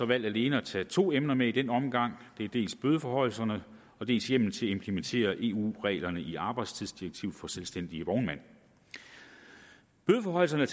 valgt alene at tage to emner med i denne omgang det er dels bødeforhøjelserne dels hjemmel til at implementere eu reglerne i arbejdstidsdirektiv for selvstændige vognmænd bødeforhøjelserne